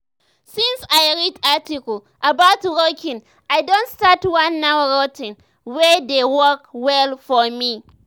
since i read article about walking i don start one new routine wey dey work well for me.